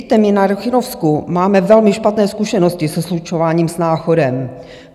Víte, my na Rychnovsku máme velmi špatné zkušenosti se slučováním s Náchodem.